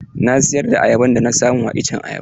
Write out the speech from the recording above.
Na siyar da ayaban da na samu a iccen ayaba.